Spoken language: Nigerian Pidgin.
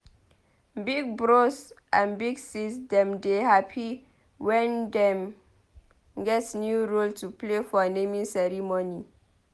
Big bros and big sis dem dey happy wen dem get new role to play for naming ceremony.